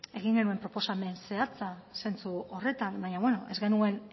egin genuen proposamen zehatza zentzu horretan baina ez genuen